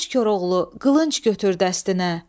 Qoç Koroğlu, qılınc götür dəstinə.